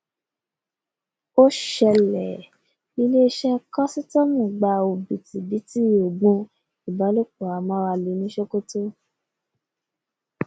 ó ṣẹlẹ̀ iléeṣẹ́ kọ́sítọ́ọ̀mù gba òbítíbitì oògùn ìbálòpọ amárale ní sokoto